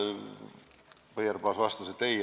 Põierpaas vastas, et ei loeta.